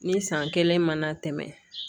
Ni san kelen mana tɛmɛ